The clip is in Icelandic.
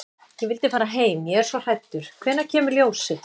Ég vil fara heim. ég er svo hræddur. hvenær kemur ljósið?